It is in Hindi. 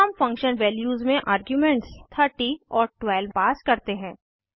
फिर हम फंक्शन वैल्यूज़ में आर्ग्युमेंट्स 30 और 12 हैं